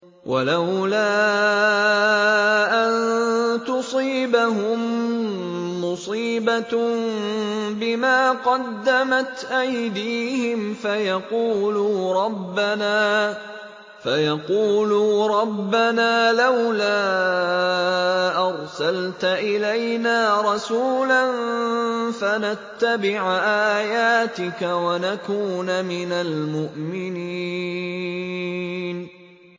وَلَوْلَا أَن تُصِيبَهُم مُّصِيبَةٌ بِمَا قَدَّمَتْ أَيْدِيهِمْ فَيَقُولُوا رَبَّنَا لَوْلَا أَرْسَلْتَ إِلَيْنَا رَسُولًا فَنَتَّبِعَ آيَاتِكَ وَنَكُونَ مِنَ الْمُؤْمِنِينَ